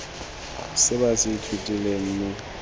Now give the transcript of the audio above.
se ba se ithutileng mo